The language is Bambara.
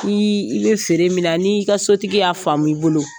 I i bɛ feere min na n'i ka sotigi y'a faamu i bolo